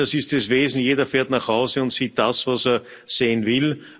Das ist das Wesen Jeder fährt nach Hause und sieht das, was er sehen will.